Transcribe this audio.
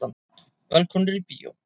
Velkomnir í bíó.